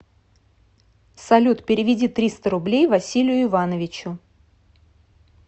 салют переведи триста рублей василию ивановичу